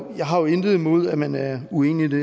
intet imod at man er uenig i det